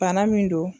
Bana min don